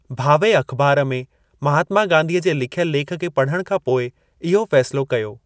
भावे अख़िबार में महात्मा गांधीअ जे लिखियल लेख खे पढ़ण खां पोइ इहो फसिलो कयो।